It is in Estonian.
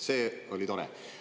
See oli tore.